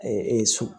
so